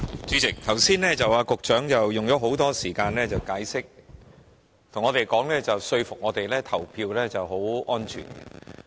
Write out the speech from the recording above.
主席，局長剛才花了很多時間解釋，想說服我們相信投票很安全。